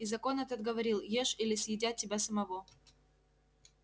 и закон этот говорил ешь или съедят тебя самого